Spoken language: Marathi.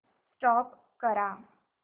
स्टॉप करा